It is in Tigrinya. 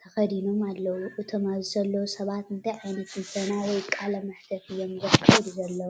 ተኸዲኖም ኣለዉ። እቶም ኣብዚ ዘለዉ ሰባት እንታይ ዓይነት ትንተና ወይ ቃለ መሕትት እዮም ዘካይዱ ዘለዉ?